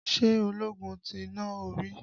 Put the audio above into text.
Ṣé ológun ti nà ó rí?